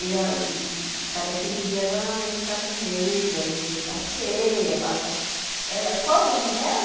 E a cada quinze dias ela vem ficar comigo, a gente passeia, passa... Ela qual o nome dela?